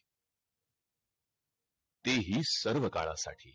तेही सर्व कलासाठी